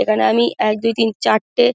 এখানে আমি এক দুই তিন চারটে--